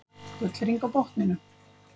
Gullhring á botninum.